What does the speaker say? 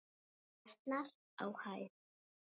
jötnar á hæð.